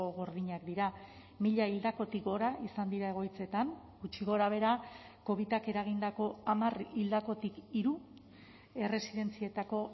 gordinak dira mila hildakotik gora izan dira egoitzetan gutxi gorabehera covidak eragindako hamar hildakotik hiru erresidentzietako